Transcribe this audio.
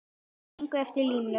Eða gengur eftir línu.